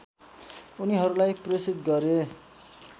उनीहरूलाई प्रेषित गरे